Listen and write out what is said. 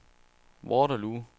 Waterloo